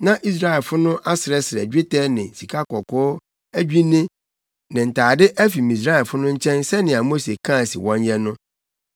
Na Israelfo no asrɛsrɛ dwetɛ ne sikakɔkɔɔ adwinne ne ntade afi Misraimfo no nkyɛn sɛnea Mose kaa se wɔnyɛ no.